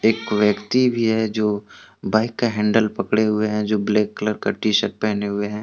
एक व्यक्ति भी है जो बाइक का हैंडल पकड़े हुए है जो ब्लैक कलर का टी शर्ट पहने हुए है।